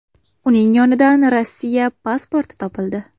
Uning yonidan Rossiya pasporti topildi.